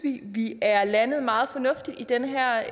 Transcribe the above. vi at vi er landet meget fornuftigt i den her